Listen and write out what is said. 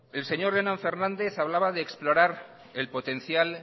el señor jonan fernández hablaba de explorar el potencial